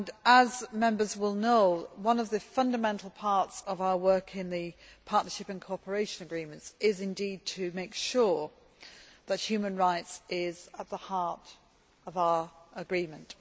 As Members will know, one of the fundamental parts of our work in the partnership and cooperation agreements is indeed to make sure that human rights is at the heart of our agreements.